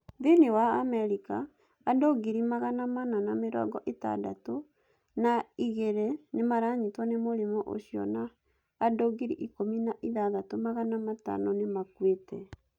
Thĩinĩ wa Amerika, andũ ngiri magana mana na mĩrongo ĩtandatũ na igĩrĩnĩ maranyitwo nĩ mũrimũ ũcio na andũ ngiri ikũmi na ithathatũ magana matano nĩ makuĩte.